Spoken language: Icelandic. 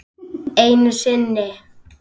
Einu sinni.